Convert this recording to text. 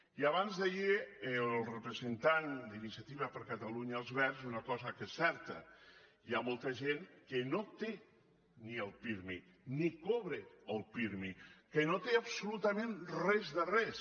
i abans d’ahir el representant d’iniciativa per catalunya verds deia una cosa que és certa hi ha molta gent que no té ni el pirmi ni cobra el pirmi que no té absolutament res de res